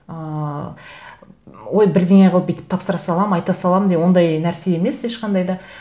ыыы ой бірдеңе қылып бүйтіп тапсыра саламын айта саламын деп ондай нәрсе емес ешқандай да